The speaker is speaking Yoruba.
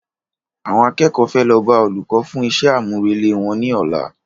Àwọn akẹ́kọ̀ọ́ fẹ́ lọ bá Olùkọ́ fún iṣẹ́ àmúrelé wọn ní ọ̀la